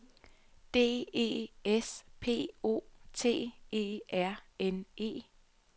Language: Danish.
D E S P O T E R N E